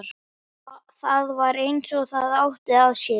Það var eins og það átti að sér.